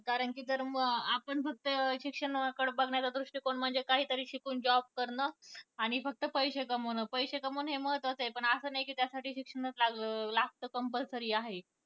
कारण कि जर मग आपण फक्त शिक्षणाकडं बघण्याचा दृष्टिकोन म्हणजे काही तरी शिकून job करणं आणि फक्त पैसे कमावणं पैसे कमावणं महत्वाचं आहे, पण असे नाही कि त्यासाठी शिक्षणाच लाग लागत compulsory आहे.